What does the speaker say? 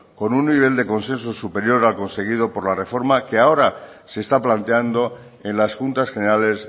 con un nivel de consenso superior al conseguido por la reforma que ahora se está planteando en las juntas generales